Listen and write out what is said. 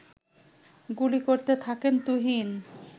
গুলি করতে থাকেন তুহিন